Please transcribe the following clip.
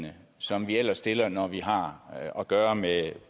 som vi ellers stiller når vi har at gøre med